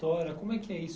Como é que é isso?